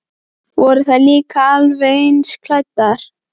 Voru þær líka alveg eins klæddar?